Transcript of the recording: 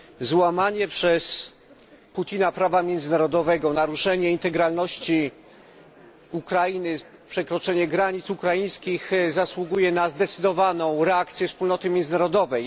Złamanie przez Putina prawa międzynarodowego, naruszenie integralności Ukrainy, przekroczenie granic ukraińskich zasługuje na zdecydowaną reakcję wspólnoty międzynarodowej.